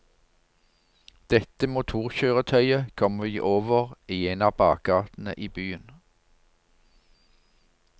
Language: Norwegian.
Dette motorkjøretøyet kom vi over i en av bakgatene i byen.